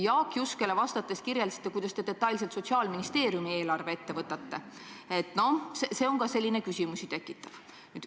Jaak Juskele vastates te kirjeldasite, kuidas te Sotsiaalministeeriumi eelarve detailselt ette võtate – see tekitab ka küsimusi.